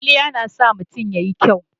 Kwalliya na sa mutun ya yi kyau.